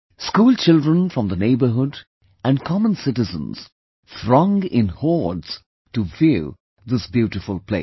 School children from the neighbourhood & common citizens throng in hordes to view this beautiful place